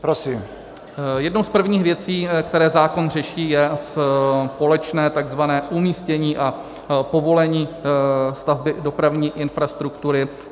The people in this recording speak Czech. Jednou z prvních věcí, které zákon řeší, je společné tzv. umístění a povolení stavby dopravní infrastruktury.